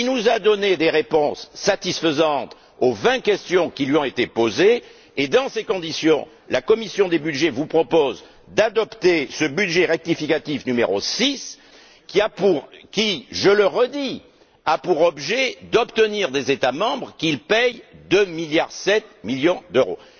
Il nous a donné des réponses satisfaisantes aux vingt questions que nous lui avons posées et, dans ces conditions, la commission des budgets vous propose d'adopter ce budget rectificatif n° 6, qui je le répète a pour objet d'obtenir des États membres qu'ils paient 2,7 milliards d'euros.